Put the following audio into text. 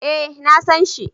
Eh na san shi